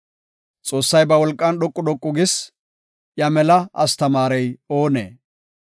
“Xoossay ba wolqan dhoqu dhoqu gis; iya mela astamaarey oonee?